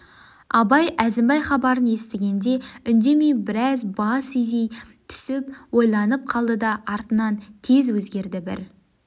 абай әзімбай хабарын естігенде үндемей біраз бас изей түсіп ойланып қалды да артынан тез өзгерді бір